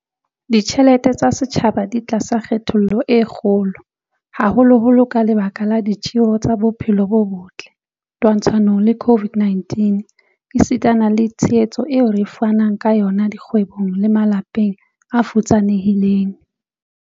Ditjhelete tsa setjhaba di tlasa kgatello e kgolo, haholoholo ka lebaka la ditjeho tsa bophelo bo botle twantshanong le COVID-19 esitana le tshehetso eo re fanang ka yona dikgwebong le malapeng a futsanehileng.